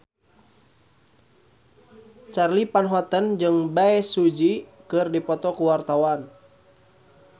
Charly Van Houten jeung Bae Su Ji keur dipoto ku wartawan